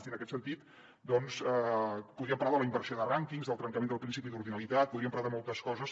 i en aquest sentit podríem parlar de la inversió de rànquings del trencament del principi d’ordinalitat podríem parlar de moltes coses